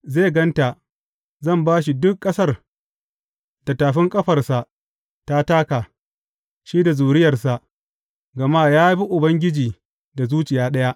Zai gan ta, zan ba shi duk ƙasar da tafin ƙafarsa ta taka, shi da zuriyarsa, gama ya bi Ubangiji da zuciya ɗaya.